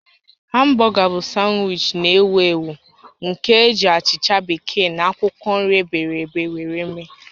Hamburger bụ sanwichi na-ewu ewu nke eji achicha bekee na akwụkwọ nri ebere ebe were eme